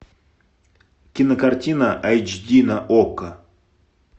кинокартина айч ди на окко